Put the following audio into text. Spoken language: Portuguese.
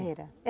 Era.